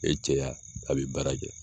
E cɛya a bi baara kɛ.